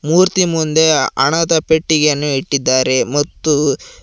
ಮೂರ್ತಿ ಮುಂದೆ ಹಣದ ಪೆಟ್ಟಿಗೆಯನ್ನು ಇಟ್ಟಿದ್ದಾರೆ ಮತ್ತು--